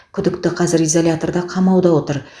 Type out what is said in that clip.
күдікті қазір изоляторда қамауда отыр